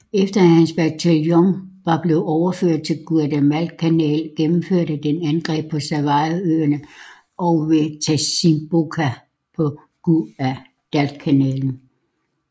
Efter at hans bataljon var blevet overført til Guadalcanal gennemførte den angreb på Savoøen og ved Tasimboko på Guadalcanal